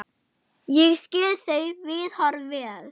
Ég skil þau viðhorf vel.